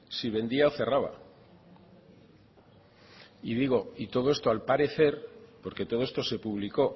si vendía o cerraba y digo todo esto al parecer porque todo esto se publicó